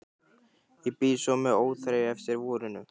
Og bíð svo með óþreyju eftir vorinu.